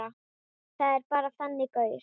Ég er bara þannig gaur.